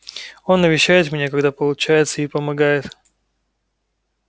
он навещает меня когда получается и помогает